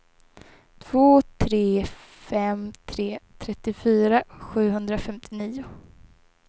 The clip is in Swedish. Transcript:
två tre fem tre trettiofyra sjuhundrafemtionio